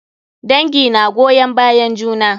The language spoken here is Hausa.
Dangi na goyon bayan juna.